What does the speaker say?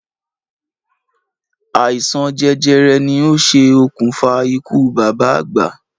Àìsàn jẹjẹrẹ ni o ṣe òkùnfà ikú bàbá àgbà